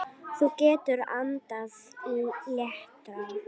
Þú getur andað léttar!